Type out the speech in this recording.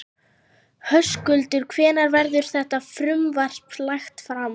Höskuldur, hvenær verður þetta frumvarp lagt fram?